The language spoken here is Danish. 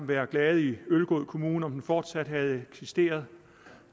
været glade i ølgod kommune om den fortsat havde eksisteret